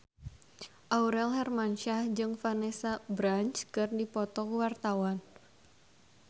Aurel Hermansyah jeung Vanessa Branch keur dipoto ku wartawan